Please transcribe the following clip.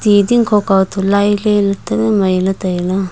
ti dingkho kau to lailey ley ta le mai ley tai ley.